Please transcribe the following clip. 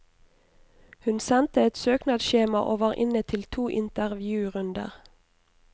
Hun sendte et søknadsskjema og var inne til to intervjurunder.